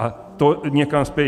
A to někam spěje.